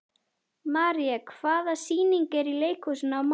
Marían, hvaða sýningar eru í leikhúsinu á mánudaginn?